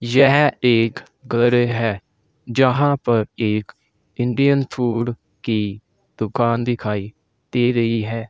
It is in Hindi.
यह एक गर है जहां पर एक इंडियन फूड की दुकान दिखाई दे रही है।